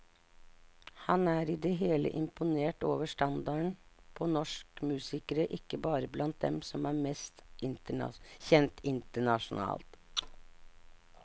Han er i det hele imponert over standarden på norsk musikere, ikke bare blant dem som er mest kjent internasjonalt.